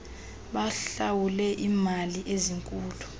bahlawule iimali ezinkulu